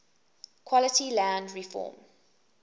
quality land reform